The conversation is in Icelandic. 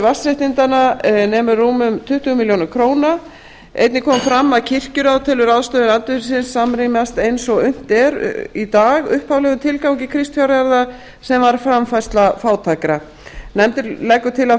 vatnsréttindanna nemur rúmum tuttugu milljónir króna einnig kom fram að kirkjuráð telur ráðstöfun andvirðisins samrýmast eins og unnt er í dag upphaflegum tilgangi kristfjárjarða sem var framfærsla fátækra nefndin leggur til að